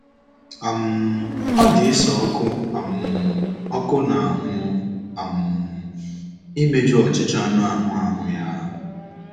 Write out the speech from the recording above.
um Ọ dị Esau ọkụ um ọkụ n’ahụ́ um imeju ọchịchọ anụ ahụ́ ahụ́ ya.